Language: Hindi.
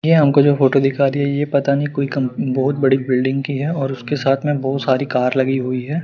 यह हमको जो फोटो दिखा रही है ये पता नहीं कोई कंप बहुत बड़ी बिल्डिंग की है और उसके साथ में बहुत सारी कार लगी हुई है।